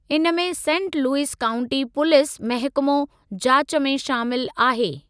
इन में saint Louis county police महिकमो जाच में शामिलु आहे।